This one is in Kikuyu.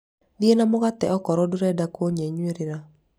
thiĩ na mũgate okorũo ndũreda kũnyenyũrĩra